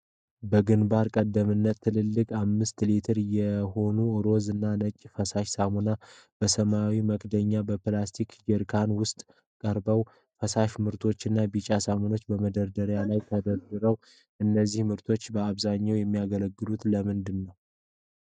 በግንባር ቀደምትነት ትልልቅ አምስት ሊትር የሆኑ ሮዝ እና ነጭ ፈሳሽ ሳሙናዎች በሰማያዊ መክደኛ በፕላስቲክ ጀሪካን ውስጥ ቀርበዋል። ፈሳሽ ምርቶችና ቢጫ ሳሙናዎች በመደርደሪያው ላይ ተደርድረዋል። እነዚህ ምርቶች በአብዛኛው የሚያገለግሉት ለምንድን ነው?